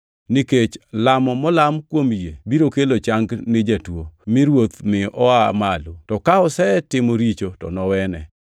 Nikech lamo molam kuom yie biro kelo chang ni jatuo, mi Ruoth mi oa malo. To ka osetimo richo to nowene.